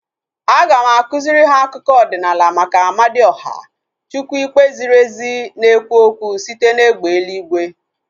Aga m akụziri ha akụkọ ọdịnala maka Amadioha, chukwu ikpe ziri ezi na-ekwu okwu site na egbe eluigwe